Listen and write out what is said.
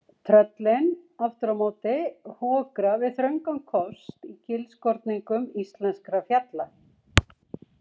Tröllin, aftur á móti, hokra við þröngan kost í gilskorningum íslenskra fjalla.